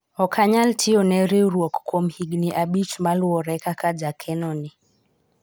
ok anyal tiyone riwruok kuom higni abich moluwore kaka jakeno ni